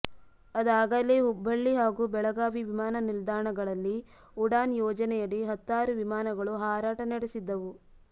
ಅದಾಗಲೇ ಹುಬ್ಬಳ್ಳಿ ಹಾಗೂ ಬೆಳಗಾವಿ ವಿಮಾನ ನಿಲ್ದಾಣಗಳಲ್ಲಿ ಉಡಾನ್ ಯೋಜನೆಯಡಿ ಹತ್ತಾರು ವಿಮಾನಗಳು ಹಾರಾಟ ನಡೆಸಿದ್ದವು